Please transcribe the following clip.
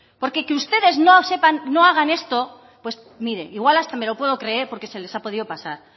porque que ustedes no sepan no hagan esto pues mire igual hasta me lo puedo creer porque se les ha podido pasar